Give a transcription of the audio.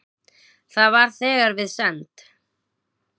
Það var þegar við send